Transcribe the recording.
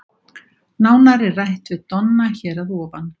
Nánar er rætt við Donna hér að ofan.